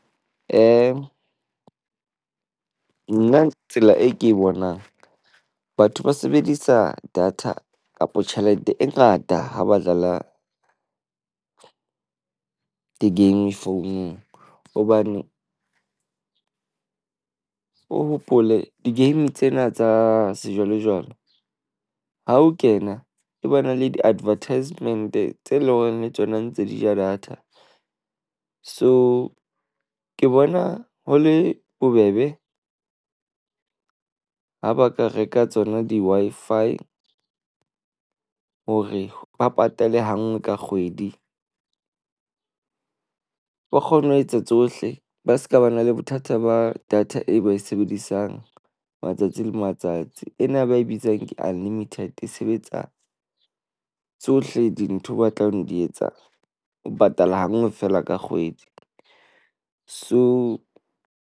Nna tsela e ke bonang batho ba sebedisa data kapa tjhelete e ngata ha ba dlala di-game founung hobane. O hopole di-game tsena tsa sejwalejwale ha o kena e bona le di-advertisement tse leng horeng le tsona ntse di ja data. So ke bona ho le bobebe ha ba ka reka tsona di-Wi-Fi hore ba patale ha nngwe ka kgwedi. Ba kgone ho etsa tsohle. Ba seka ba na le bothata ba data e ba e sebedisang matsatsi le matsatsi. Ena e ba e bitsang ke unlimited e sebetsa tsohle dintho ba tlang di etsa. O patala hanngwe feela ka kgwedi, so.